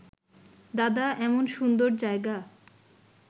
দাদা, এমন সুন্দর জায়গা